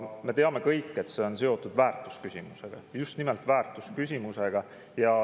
Me teame kõik, et see on seotud väärtusküsimusega, just nimelt väärtusküsimusega.